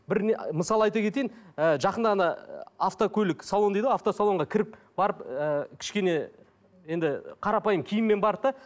бір не мысал айта кетейін ы жақында ғана ы автокөлік салон дейді ғой автосалонға кіріп барып ііі кішкене енді қарапайым киіммен барды да